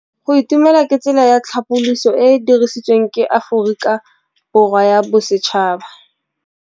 Go itumela ke tsela ya tlhapolisô e e dirisitsweng ke Aforika Borwa ya Bosetšhaba.